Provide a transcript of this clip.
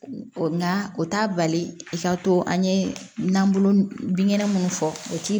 Nka o t'a bali i ka to an ye nanbolo binkɛnɛ munnu fɔ u ti